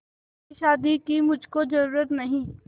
ऐसी शादी की मुझको जरूरत नहीं